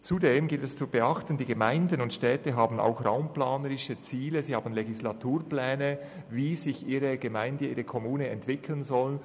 Ausserdem gilt es zu beachten, dass die Gemeinden und Städte auch raumplanerische Ziele und Legislaturpläne haben, wie sich ihre Gemeinde beziehungsweise ihre Kommune entwickeln soll.